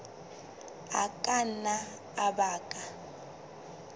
a ka nna a baka